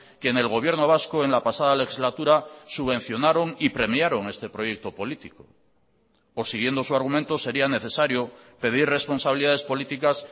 que en el gobierno vasco en la pasada legislatura subvencionaron y premiaron este proyecto político o siguiendo su argumento sería necesario pedir responsabilidades políticas